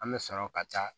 An bɛ sɔrɔ ka taa